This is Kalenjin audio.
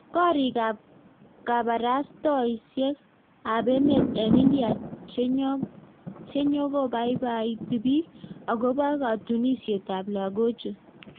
Koriik ap kaparasatosiek ap emet eng india chenyokopaipaiti piik agopoo katunisiet ap lagochuu